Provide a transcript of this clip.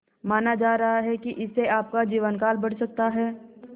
माना जा रहा है कि इससे आपका जीवनकाल बढ़ सकता है